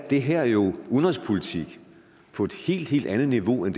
det her jo udenrigspolitik på et helt helt andet niveau end